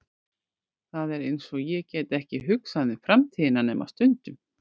Það er einsog ég geti ekki hugsað um framtíðina nema stundum.